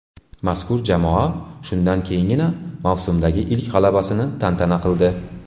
Mazkur jamoa shundan keyingina mavsumdagi ilk g‘alabasini tantana qildi.